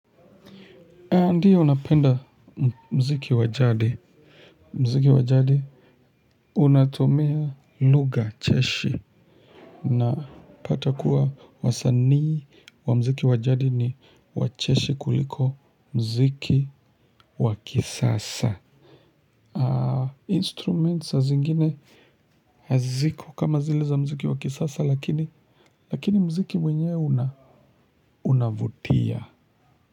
Ndio napenda mziki wajadi mziki wajadi unatomia luga cheshi napata kuwa wasanii wa mziki wajadi ni wacheshi kuliko mziki wakisasa instruments saa zingine haziko kama zile za mziki wakisasa lakini lakini mziki mwenyewe unavutia. Kwa hivyo.